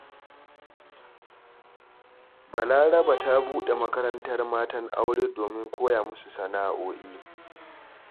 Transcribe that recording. Balaraba ta buɗe makarantar matan aure domin koya musu sana’ao’i